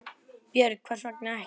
Björn: Hvers vegna ekki?